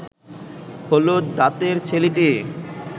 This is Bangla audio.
হলুদ দাঁতের ছেলেটি